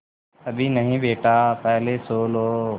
अभी नहीं बेटा पहले सो लो